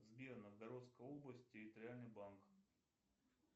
сбер новгородская область территориальный банк